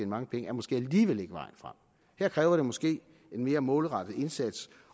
mange penge er måske alligevel ikke vejen frem her kræver det måske en mere målrettet indsats